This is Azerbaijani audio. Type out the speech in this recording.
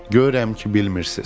Görürəm ki, bilmirsiz.